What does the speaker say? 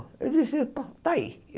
Eu disse, está aí.